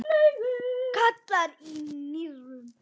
gallar í nýrum